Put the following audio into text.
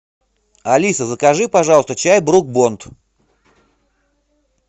алиса закажи пожалуйста чай брук бонд